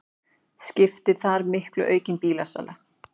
Skiptir þar miklu aukin bílasala